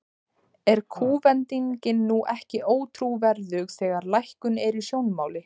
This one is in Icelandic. Er kúvendingin nú ekki ótrúverðug, þegar að lækkun er í sjónmáli?